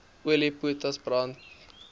olie potas brand